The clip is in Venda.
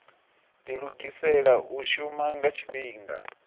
dilugisela u shuma nga tshifhinga